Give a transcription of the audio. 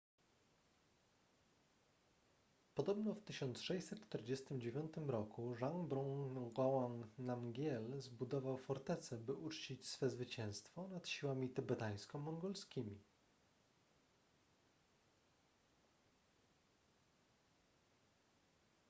podobno w 1649 r zhabdrung ngawang namgyel zbudował fortecę by uczcić swe zwycięstwo nad siłami tybetańsko-mongolskimi